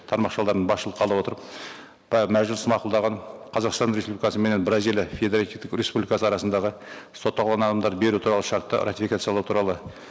тармақшаларын басшылыққа ала отырып мәжіліс мақұлдаған қазақстан республикасы менен бразилия федеративтік республикасы арасындағы сотталған адамдарды беру туралы шартты ратификациялау туралы